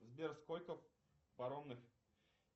сбер сколько паромных